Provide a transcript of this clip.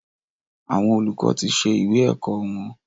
Àwọn olùkọ tí ṣe ìwé ẹ̀kọ́ wọn.